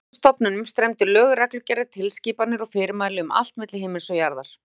Frá þessum stofnunum streymdu lög, reglugerðir, tilskipanir og fyrirmæli um allt milli himins og jarðar.